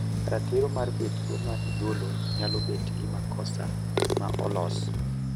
ratiro mar betgo ma igolo nyalo bet gi makosa ma olos